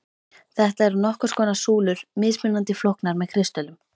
Þetta eru nokkurs konar súlur, mismunandi flóknar með kristöllum.